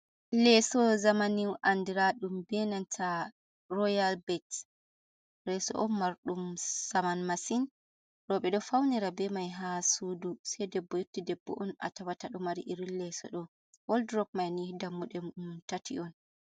leeso zaamani andraaɗum bee nanta royal bet, leeso on marɗum saman masin, rooɓe ɗo fawnira bee mai haa suudu sei debbo yotti debbo on a tawata ɗo mari irin leeso ɗ'oo, waldurop mai nii dammuɗe tati on.